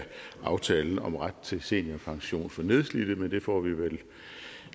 aftalen om ret til seniorpension for nedslidte men det får vi vel